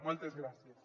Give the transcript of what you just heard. moltes gràcies